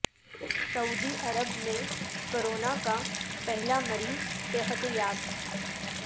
سعودی عرب میں کورونا کا پہلا مریض صحت یاب